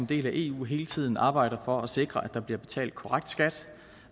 del af eu hele tiden arbejder for at sikre at der bliver betalt korrekt skat